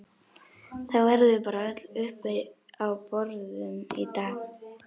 Þá verðum við bara öll uppi á borðum í dag